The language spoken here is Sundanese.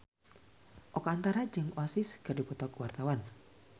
Oka Antara jeung Oasis keur dipoto ku wartawan